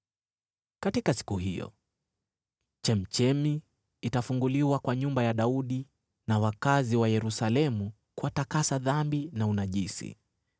“Katika siku hiyo, chemchemi itafunguliwa kwa nyumba ya Daudi na wakazi wa Yerusalemu, kuwatakasa dhambi na unajisi.